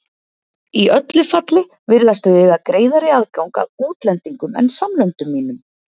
Í öllu falli virðast þau eiga greiðari aðgang að útlendingum en samlöndum mínum.